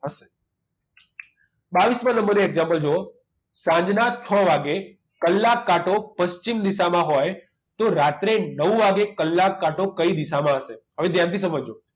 બાવીસ માં નંબર નું example જુઓ સાંજના છ વાગ્યે કલાક કાંટો પશ્ચિમ દિશામાં હોય તો રાત્રે નવ વાગે કલાક કાંટો કઈ દિશામાં હશે હવે ધ્યાનથી સમજજો